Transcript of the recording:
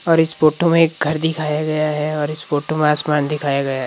और इस फोटो में एक घर दिखाया गया है और इस फोटो में आसमान दिखाया गया है।